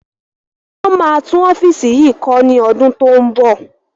Wọn máa tún ọ́fíìsì yìí kọ́ ni ọdún to ń bọ̀